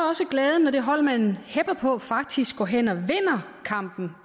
også glæden når det hold man hepper på faktisk går hen og vinder kampen